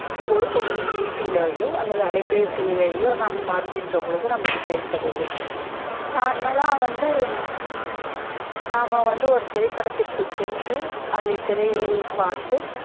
ஒருபோழுதும் வீட்டுலயோ அல்லது அலைபெசியிலையோ நாம் பார்கின்ற போது நமக்கு கிடைப்பதில்லை normal லா வந்து நாம வந்து ஒரு திரைப்படத்துக்கு சென்று அதை திரையில் பார்த்து